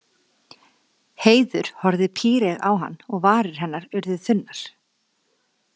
Heiður horfði píreyg á hann og varir hennar urðu þunnar.